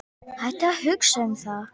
Hættu að hugsa um það.